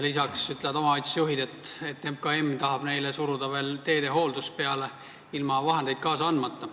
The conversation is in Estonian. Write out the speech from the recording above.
Ka ütlevad omavalitsusjuhid, et MKM tahab neile veel teede hooldust peale suruda ilma vahendeid kaasa andmata.